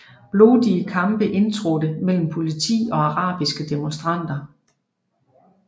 Blodige kampe indtrådte mellem politi og arabiske demonstranter